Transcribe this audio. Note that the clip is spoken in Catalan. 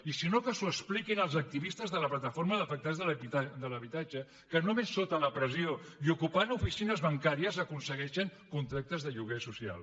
i si no que els ho expliquin els activistes de la plataforma d’afectats per la hipoteca que només sota la pressió i ocupant oficines bancàries aconsegueixen contractes de lloguer social